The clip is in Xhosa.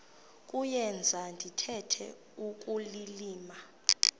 kuyenza ndithetha ukulilima